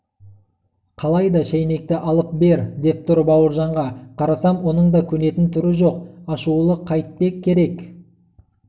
қалайда шайнекті алып бер деп тұр бауыржанға қарасам оның да көнетін түрі жоқ ашулы қайтпек керек